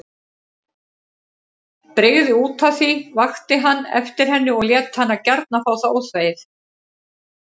Brygði útaf því, vakti hann eftir henni og lét hana gjarna fá það óþvegið.